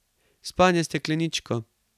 Spanje s stekleničko.